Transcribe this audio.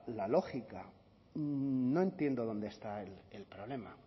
la lógica no entiendo dónde está el problema